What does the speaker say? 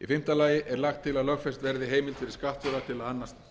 í fimmta lagi er lagt til að lögfest verði heimild fyrir skattstjóra til að annast gerð skattframtala